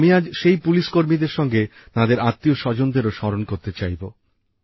আমি আজ সেই পুলিশকর্মীদের সঙ্গে তাঁদের আত্মীয়স্বজনদেরও স্মরণ করতে চাইব